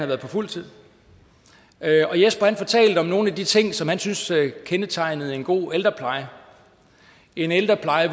været på fuld tid og jesper fortalte om nogle af de ting som han synes kendetegnede en god ældrepleje en ældrepleje